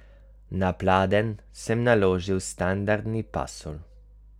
Na pladenj sem naložil standardni pasulj.